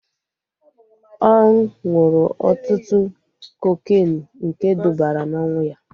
Ọ ṅụrụ ọtụtụ kokeenu nke dubara na ọnwụ ya